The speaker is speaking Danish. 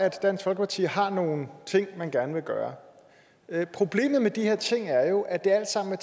at dansk folkeparti har nogle ting man gerne vil gøre problemet med de her ting er jo at det alt sammen er